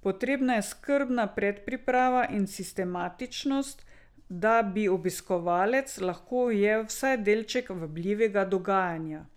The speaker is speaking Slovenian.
Potrebna je skrbna predpriprava in sistematičnost, da bi obiskovalec lahko ujel vsaj delček vabljivega dogajanja.